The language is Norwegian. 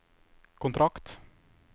kontrakt